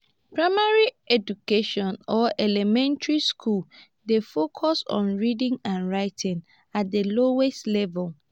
primary education or elementry school dey focus on reading and writing at the lowest level